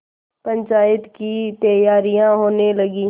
पंचायत की तैयारियाँ होने लगीं